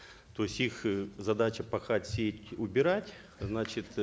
то есть их э задача пахать сеять убирать значит